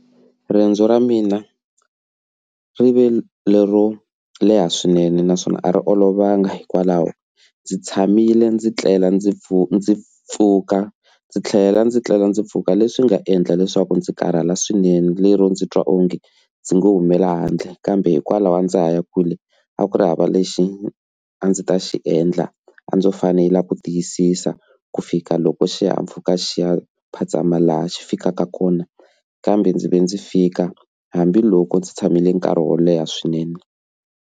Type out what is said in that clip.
Riendzo ra mina rive lero leha swinene naswona a ri olovanga hikwalaho ndzi tshamile ndzi tlela ndzi pfuna ndzi pfuka ndzi tlhela ndzi tlhela ndzi pfuka leswi nga endla leswaku ndzi karhala swinene lero ndzi twa onge ndzi nga humela handle kambe hikwalaho a ndza ha ya kule a ku ri hava lexi a ndzi ta xi endla a ndzo fanele ku tiyisisa ku fika loko xihahampfhuka xi ya phazama laha xi fikaka kona kambe ndzi ve ndzi fika hambiloko ndzi tshamile nkarhi wo leha swinene.